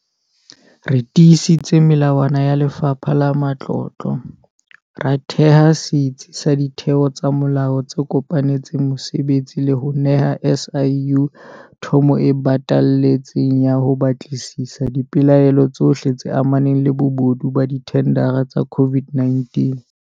Re tiisitse melawana ya Lefapha la Matlotlo, ra theha setsi sa ditheo tsa molao tse kopanetseng mosebetsi le ho neha SIU thomo e batalletseng ya ho batlisisa dipelaelo tsohle tse amanang le bobodu ba dithendara tsa COVID-19.